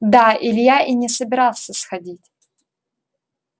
да илья и не собирался сходить